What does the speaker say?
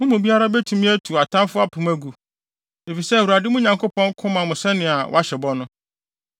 Mo mu biara betumi atu atamfo apem agu, efisɛ Awurade, mo Nyankopɔn ko ma mo sɛnea wahyɛ bɔ no.